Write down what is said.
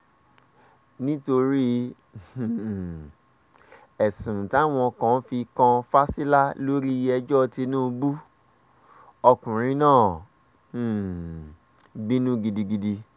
nítorí um ẹ̀sùn táwọn kan fi kan fásilà lórí ẹjọ́ tínúbù ọkùnrin náà um bínú gidigidi